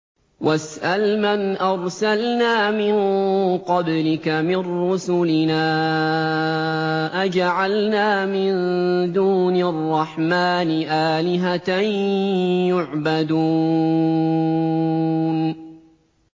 وَاسْأَلْ مَنْ أَرْسَلْنَا مِن قَبْلِكَ مِن رُّسُلِنَا أَجَعَلْنَا مِن دُونِ الرَّحْمَٰنِ آلِهَةً يُعْبَدُونَ